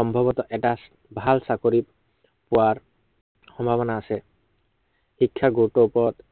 সম্ভৱতঃ এটা, ভাল চাকৰি পোৱাৰ সম্ভাৱনা আছে। শিক্ষাৰ গুৰুতৰ ওপৰত